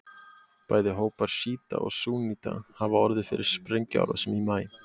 Bæði hópar sjíta og súnníta hafa orðið fyrir sprengjuárásum í maí.